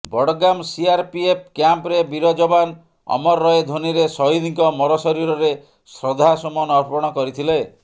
Budgam CRPF କ୍ୟାମ୍ପରେ ବୀର ଯବାନ ଅମର ରହେ ଧ୍ୱନିରେ ସହିଦଙ୍କ ମରଶରୀରରେ ଶ୍ରଦ୍ଧାସୁମନ ଅର୍ପଣ କରିଥିଲେ